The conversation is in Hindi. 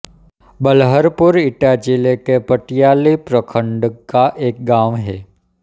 बलहरपुर एटा जिले के पटियाली प्रखण्ड का एक गाँव है